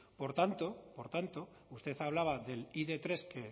por tanto por tanto usted hablaba del i de tres de